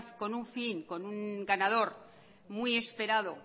con un fin con un ganador muy esperado